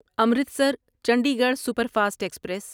Amritsar Chandigarh super fast express